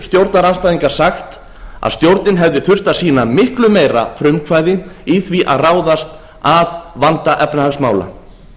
stjórnarandstæðingar sagt að stjórnin hefði þurft að sýna miklu meira frumkvæði í því að ráðast að vanda efnahagsmála